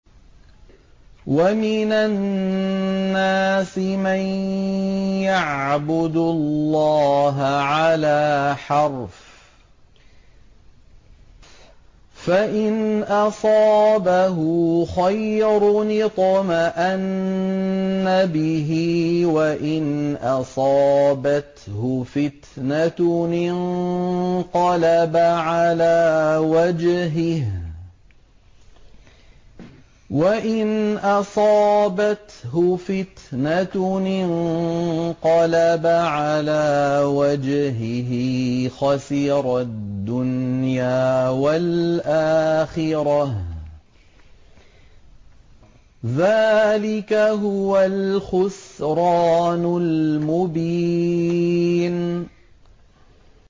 وَمِنَ النَّاسِ مَن يَعْبُدُ اللَّهَ عَلَىٰ حَرْفٍ ۖ فَإِنْ أَصَابَهُ خَيْرٌ اطْمَأَنَّ بِهِ ۖ وَإِنْ أَصَابَتْهُ فِتْنَةٌ انقَلَبَ عَلَىٰ وَجْهِهِ خَسِرَ الدُّنْيَا وَالْآخِرَةَ ۚ ذَٰلِكَ هُوَ الْخُسْرَانُ الْمُبِينُ